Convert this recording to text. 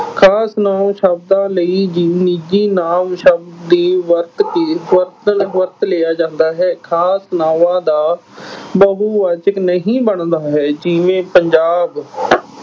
ਖਾਸ ਨਾਂਵ ਸ਼ਬਦਾਂ ਲਈ ਜੀ ਅਹ ਨਿੱਜੀ ਨਾਂਵ ਸ਼ਬਦ ਦੇ ਵਰਤ ਕੇ ਵਰਤ ਅਹ ਵਰਤ ਲਿਆ ਜਾਂਦਾ ਹੈ। ਖਾਸ ਨਾਵਾਂ ਦਾ ਬਹੁਵਾਚਕ ਨਹੀਂ ਬਣਦਾ ਹੈ ਜਿਵੇਂ ਪੰਜਾਬ,